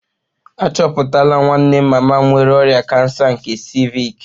Achọpụtala nwanne mama m nwere ọrịa kansa nke ciivịc